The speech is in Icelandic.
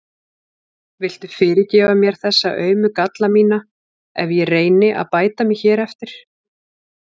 Viltu fyrirgefa mér þessa aumu galla mína ef ég reyni að bæta mig hér eftir?